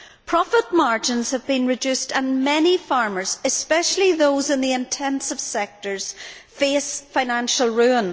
Profit margins have been reduced and many farmers, especially those in the intensive sectors, face financial ruin.